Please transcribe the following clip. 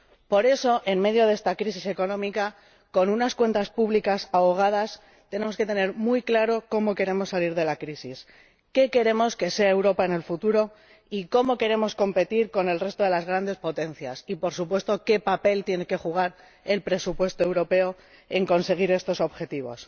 Por eso, en medio de esta crisis económica, con unas cuentas públicas ahogadas, tenemos que tener muy claro cómo queremos salir de la crisis, qué queremos que sea Europa en el futuro y cómo queremos competir con el resto de las grandes potencias y, por supuesto, qué papel tiene que desempeñar el presupuesto europeo para conseguir estos objetivos.